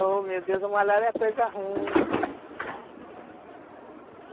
Oh, meu Deus, a malária é coisa ruim.